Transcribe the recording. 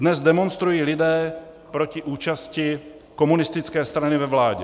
Dnes demonstrují lidé proti účasti komunistické strany ve vládě.